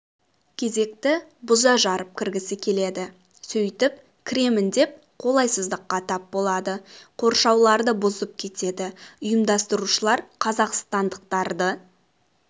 кезекті бұза-жарып кіргісі келеді сөйтіп кіремін деп қолайсыздыққа тап болады қоршауларды бұзып кетеді ұйымдастырушылар қазақстандықтарды